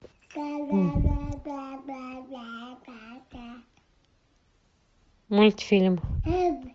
мультфильм